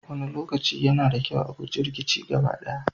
Wani lokaci, yana da kyau a guji rikici gaba ɗaya.